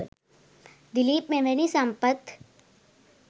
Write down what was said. දිලිප් මෙවැනි සම්පත්